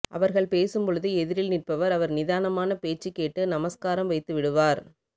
அவர்கள் பேசும்பொழுது எதிரில் நிற்பவர் அவர் நிதானமான பேச்சு கேட்டு நமஸ்காரம் வைத்துவிடுவார்